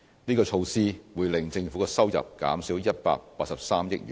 這項措施會令政府的收入減少183億元。